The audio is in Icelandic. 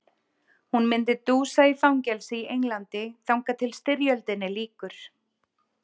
Hún myndi dúsa í fangelsi í Englandi þangað til styrjöldinni lýkur.